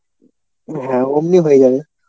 হ্যাঁ ওমনই হয়ে যাবে।